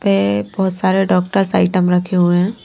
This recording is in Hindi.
पे बहुत सारे डॉक्टर्स आइटम रखे हुए हैं।